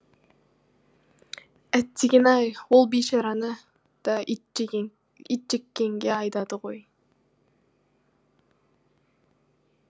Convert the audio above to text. әттегене ай ол бейшараны да итжеккенге айдайды ғой